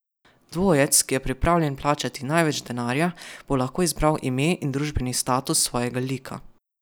Dvojec, ki je pripravljen plačati največ denarja, bo lahko izbral ime in družbeni status svojega lika.